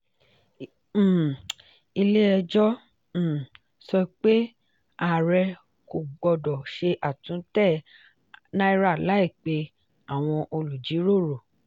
um ilé-ẹjọ́ um sọ pé àárẹ kò gbọdọ̀ ṣe àtúntẹ̀ náírà láì pè àwọn olùjíròrò.